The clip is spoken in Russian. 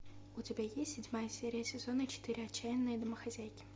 у тебя есть седьмая серия сезона четыре отчаянные домохозяйки